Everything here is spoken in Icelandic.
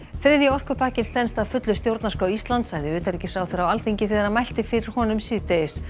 þriðji orkupakkinn stenst að fullu stjórnarskrá Íslands sagði utanríkisráðherra á Alþingi þegar hann mælti fyrir honum síðdegis